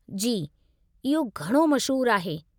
जी, इहो घणो मशहूरु आहे।